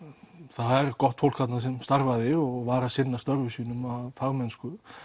það er gott fólk þarna sem starfaði og var að sinna störfum sínum af fagmennsku